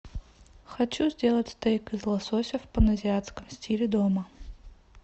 хочу сделать стейк из лосося в паназиатском стиле дома